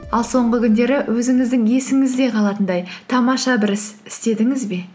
ал соңғы күндері өзіңіздің есіңізде қалатындай тамаша бір іс істедіңіз бе